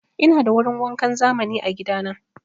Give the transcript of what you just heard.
Ina da wurin wankan zamani a gida na.